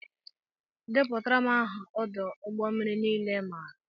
Deputara m aha odo ụgbọ mmiri niile i maara!!!